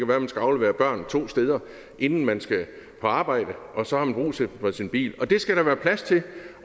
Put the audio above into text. være at man skal aflevere børn to steder inden man skal på arbejde og så har man brug for sin bil det skal der være plads til